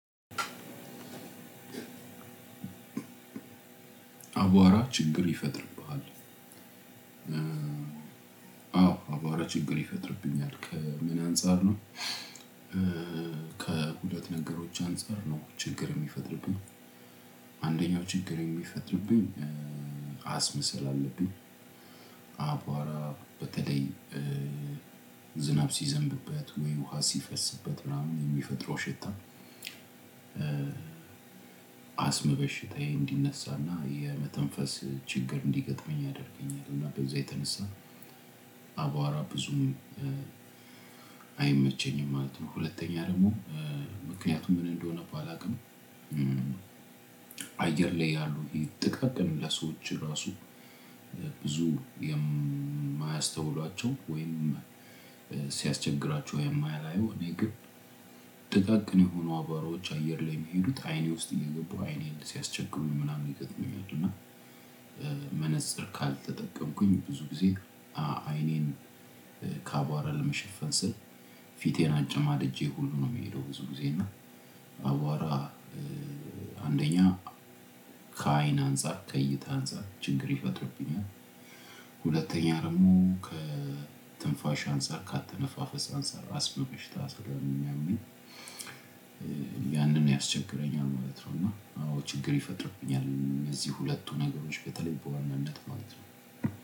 አቧራ ችግር ይፈጥርብሃል አዎ አባራ ችግር ይፈጥርብኛል ከምን አንፃር ነው? ከሁለት ነገሮች አንፃር ነው ችግር የሚፈጥርብኝ። አንደኛው ችግር የሚፈጥርብኝ አስመሰላለብኝ። አባራ በተለይ ዝናብ ሲዘንብበት ወይ ውሃ ሲፈስበት ምናምን የሚፈጥረው ሽታ። አስም በሽታዬ እንዲነሳና የመተንፈስ ችግር እንዲገጥመኝ ያደርገኛል እና በዚህ የተነሳ አቧራ ብዙም አይመቸኝም ማለት ነው። ሁለተኛ ደግሞ ምክንያቱም ምን እንደሆነ ባላውቅም። አየር ላይ ያሉ ጠቃቀን ለሰዎች ራሱ ብዙ የማያስተውሏቸው ወይም ሲያስቸግራቸው የማያላየው እኔ ግን ጥቃቅን የሆኑ አባሮች አየር ላይ የሚሄዱት አይኔ ውስጥ የሚገባው አይኔን ሲያስቸግሩ ምናምን ይገጥመኛል። እና መነፅር ካልተጠቀምኩኝ ብዙ ጊዜ አይኔን ካቧራ ለመሸፈን ስል ፊቴን አጨማድጄ ሁሉ ነው የሚሄደው። ብዙ ጊዜ እና አዋራ አንደኛ ከዓይን አንፃር ከእይታ አንፃር ችግር ይፈጥርብኛል። ሁለተኛ ደግሞ ከትንፋሽ አንፃር ከአትንፋፈስ አንፃር አስም በሽታ ስለሚያመኝ ያንን ያስቸግረኛል ማለት ነው። እና ችግር ይፈጥርብኛል እነዚህ ሁለቱ ነገሮች በተለይ በዋናነት ማለት ነው።